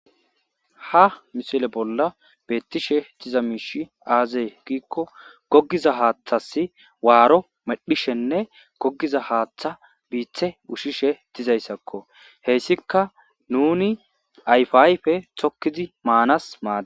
Ha missile bolla bettishe deza mishshi aze gikko goggiza haththas warro medhdhishenne gogiza haththan bitte ushshishe dizayssako hessikka nuni ayiffa ayffe tokkidi Mannas maddess.